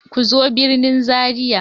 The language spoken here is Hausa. Ku zo birnin Zaria!